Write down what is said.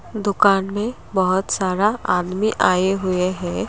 दुकान में बहुत सारा आदमी आए हुए हैं।